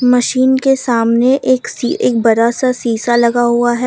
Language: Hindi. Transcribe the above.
मशीन के सामने एक सी एक बड़ा सा सीसा लगा हुआ है।